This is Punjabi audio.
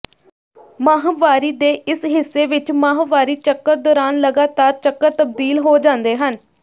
ਮਾਹਵਾਰੀ ਦੇ ਇਸ ਹਿੱਸੇ ਵਿੱਚ ਮਾਹਵਾਰੀ ਚੱਕਰ ਦੌਰਾਨ ਲਗਾਤਾਰ ਚੱਕਰ ਤਬਦੀਲ ਹੋ ਜਾਂਦੇ ਹਨ